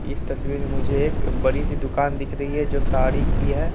इस तस्वीर में मुझे एक बड़ी सी दुकान दिख रही है जो साड़ी की है।